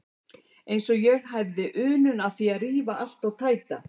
Eins og ég hefði unun af því að rífa allt og tæta.